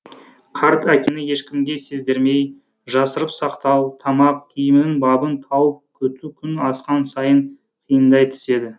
қарт әкені ешкімге сездірмей жасырып сақтау тамақ киімінің бабын тауып күту күн асқан сайын қиындай түседі